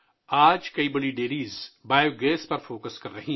آج بہت سی بڑی ڈیریاں بایو گیس پر توجہ مرکوز کر رہی ہیں